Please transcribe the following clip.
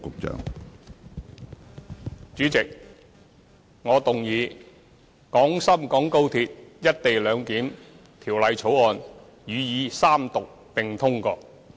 主席，我動議《廣深港高鐵條例草案》予以三讀並通過。